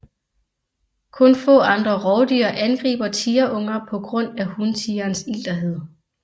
Kun få andre rovdyr angriber tigerunger på grund af huntigerens ilterhed